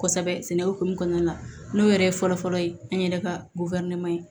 Kosɛbɛ sɛnɛ hokumu kɔnɔna la n'o yɛrɛ ye fɔlɔ-fɔlɔ ye an yɛrɛ ka ye